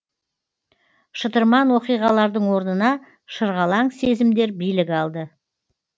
шытырман оқиғалардың орнына шырғалаң сезімдер билік алды